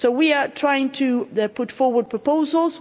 So we are trying to put forward proposals.